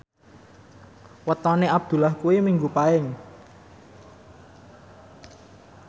wetone Abdullah kuwi Minggu Paing